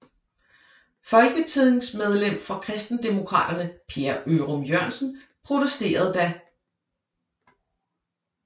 Folketingsmedlem for Kristendemokraterne Per Ørum Jørgensen protesterede da